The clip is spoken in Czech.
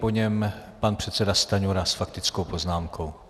Po něm pan předseda Stanjura s faktickou poznámkou.